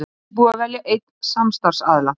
Ekki búið að velja einn samstarfsaðila